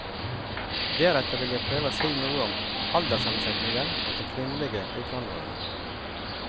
Deretter vil jeg prøve å si noe om alderssammensetningen blant de kvinnelige utvandrerne.